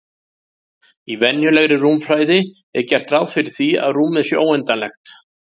Í venjulegri rúmfræði er gert ráð fyrir því að rúmið sé óendanlegt.